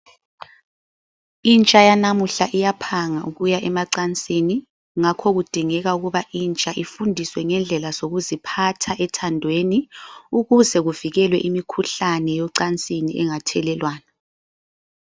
Intsha yanamuhla iyaphanga ukuya emacansini. Ngakho kudingeka ukuba intsha ifundiswe ngendlela zokuziphatha ethandweni. Ukuze kuvikelwe imikhuhlane yocansini engathelelwana.